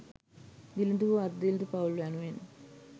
දිළිඳු හෝ අර්ධ දිළිඳු පවුල් යනුවෙන්